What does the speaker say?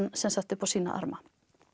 upp á sína arma